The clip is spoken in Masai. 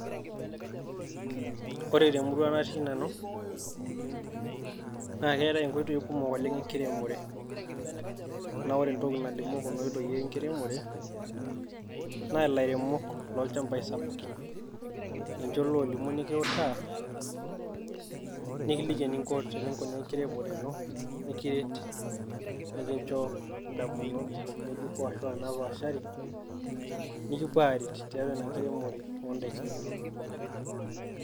Ore te murua natii Nanu naa keetae inkotoi kumok oleng' enkiremore, naa ore entoki nalimu Kuna oitoi naa ilairemok loo ilnchampai sapuki ninche loolimu nikiutaa nikiliki ening'o eninkunaa enkiremore ino nikiret nikincho idamunot ng'ejuko aashu napaashari nikipuo aaret tiatua inkiremore oo daki inonok.